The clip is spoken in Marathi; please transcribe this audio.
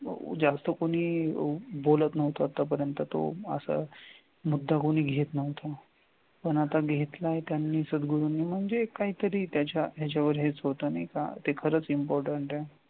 जास्त कोणी बोलत नव्हतं तर आतापर्यंत असा मुद्दा कोणी घेत नव्हतं पण आता घेतलाय त्यांनी सद्गुरुनी म्हणजे काहीतरी त्याच्या याच्यावर हेच होतं नाही का ते खरच important आहे.